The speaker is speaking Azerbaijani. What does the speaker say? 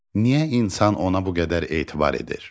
Niyə insan ona bu qədər etibar edir?